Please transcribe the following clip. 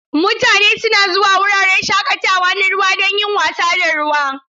Mutane suna zuwa wuraren shakatawa na ruwa don yin wasa da ruwa.